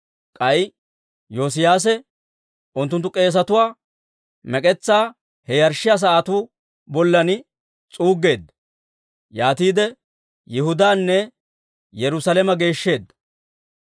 K'ay Yoosiyaase unttunttu k'eesatuwaa mek'etsaa he yarshshiyaa sa'atuu bollan s'uuggeedda; yaatiide Yihudaanne Yerusaalame geeshsheedda.